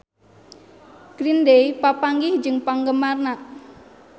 Green Day papanggih jeung penggemarna